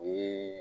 O ye